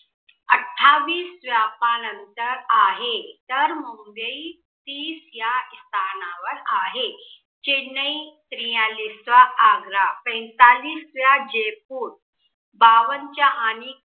अठ्ठावीस स्थानावर आहे. तर मुंबई तीस या स्थानावर आहे चेन्नई त्रीयालीस वा आग्रा, पैन्तालीस ला जयपूर, बावनच्या आणि